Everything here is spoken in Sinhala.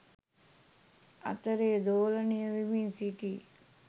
අතරේ දෝලනය වෙමින් සිටී.